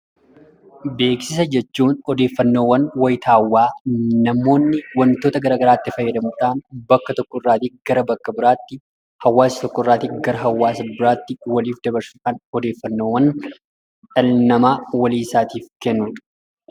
Beeksisa jechuun odeeffannoowwan wayitaawwaa namoonni wantoota garagaraatti fayyadamuudhaan bakka tokkorraati gara bakka biraatti hawaasa tokkorrati gara hawaasa biraatti waliif dabarsuudhaaf odeeffannoowwan dhalli namaa waliisaatiif kennudha.